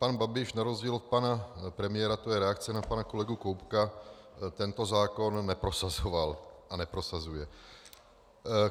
Pan Babiš na rozdíl od pana premiéra - to je reakce na pana kolegu Koubka - tento zákon neprosazoval a neprosazuje.